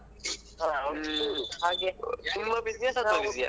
ಕೆಲ್ಸದ ಮೇಲೆಯೇ ಹಾ okay okay ಪರ್ವಾಗಿಲ್ಲ ಪರವಾಗಿಲ್ಲ.